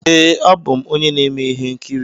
Ee, abụ m onye na-eme ihe nkiri.